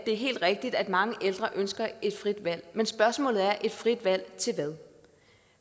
er helt rigtigt at mange ældre ønsker et frit valg men spørgsmålet er et frit valg til hvad